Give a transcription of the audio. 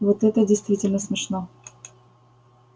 вот это действительно смешно